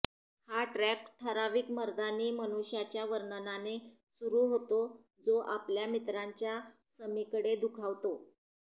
हा ट्रॅक ठराविक मर्दानी मनुष्याच्या वर्णनाने सुरू होतो जो आपल्या मित्रांच्या समीकडे दुखावतो